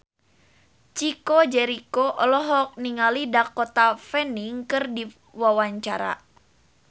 Chico Jericho olohok ningali Dakota Fanning keur diwawancara